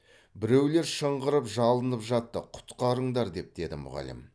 біреулер шыңғырып жалынып жатты құтқарыңдар деп деді мұғалім